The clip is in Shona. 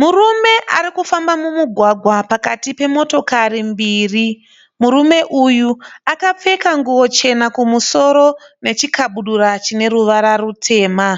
Murume ari kufamba mumugwagwa pakati pemotokari mbiri. Murume uyu akapfeka nguvo chena kumusoro nechikabudura chine ruvara rutema.